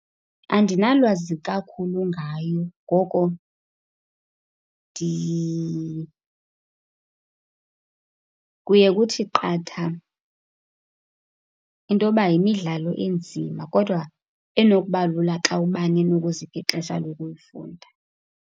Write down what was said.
Andinalwazi kakhulu ngayo, ngoko kuye kuthi qatha into yoba yimidlalo enzima kodwa enokuba lula xa ubani enokuzipha ixesha lokuyifunda.